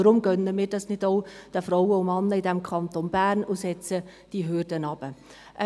Weshalb gönnen wir dies nicht auch den Frauen und Männern im Kanton Bern, indem wir die Hürden heruntersetzen?